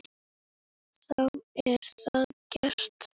Þá er það gert.